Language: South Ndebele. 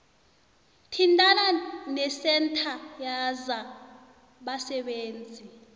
thintana nesentha yezabasebenzi